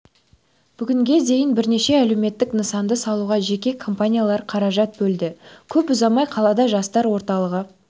бүгінге дейін бірнеше әлеуметтік нысанды салуға жеке компаниялар қаражат бөлді көп ұзамай қалада жастар орталығы